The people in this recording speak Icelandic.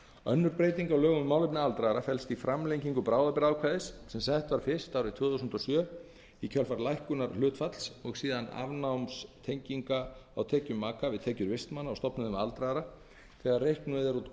önnur breyting á lögum um málefni aldraðra felst í framlengingu bráðabirgðaákvæðis sem sett var fyrst árið tvö þúsund og sex í kjölfar lækkunar hlutfalls og síðar afnáms tenginga á tekjum maka við tekjur vistmanna á stofnunum aldraðra þegar reiknuð er út